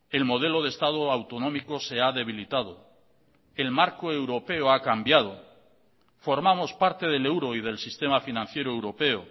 el modelo de estado autonómico se ha debilitado el marco europeo ha cambiado formamos parte del euro y del sistema financiero europeo